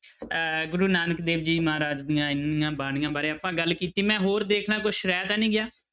ਅਹ ਗੁਰੂ ਨਾਨਕ ਦੇਵ ਜੀ ਮਹਾਰਾਜ ਦੀਆਂ ਇੰਨੀਆਂ ਬਾਣੀਆਂ ਬਾਰੇ ਆਪਾਂ ਗੱਲ ਕੀਤੀ ਮੈਂ ਹੋਰ ਦੇਖ ਲਵਾਂ ਕੁਛ ਰਹਿ ਤਾਂ ਨੀ ਗਿਆ।